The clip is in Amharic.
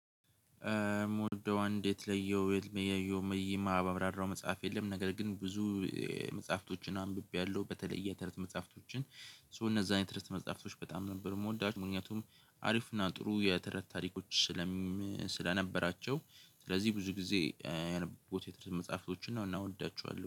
ሞደው አንድ የተለየው የለየው መይማ ባብራራው መጽሐፍ የለም ነገር ግን ብዙ መጽሐፍቶችን አንብቤያለሁ በተለይ የተረት መጽሐፍቶችን ሶ እነዛን የተረት መጽሐፍቶች በጣም ነበር ምወዳቸው። ምክንያቱም አሪፍ እና ጥሩ የተረት ታሪኮች ስለነበራቸው ስለዚህ ብዙ ጊዜ ያነበብኩት የተረት መፅሀፍቶችን ነው። አና እወዳቸዋለሁ